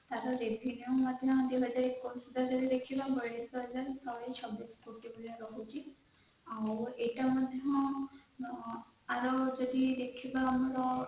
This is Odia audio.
ଆମର ଏଇଟା ମଧ୍ୟ ୟାର ଯଦି ଦେଖିବା ଆମର